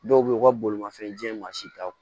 Dɔw be yen u ka bolimafɛn ji ma si taa